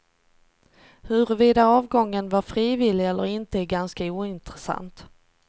Huruvida avgången var frivillig eller inte är ganska ointressant.